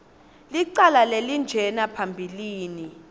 licala lelinjena phambilini